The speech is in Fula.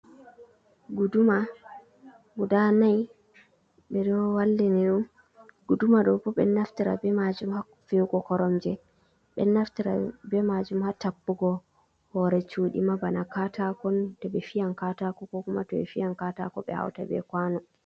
"Guduma" guda nai ɓe ɗo wallini ɗum guduma ɗo bo ɓe ɗo naftira be majum ha fi’ugo koromje ɓe ɗo naftira be majum ha tappugo hore cudi ma bana katako to ɓe fiyan katako ko kuma to ɓe fiyam katako ɓe hauta be kwano.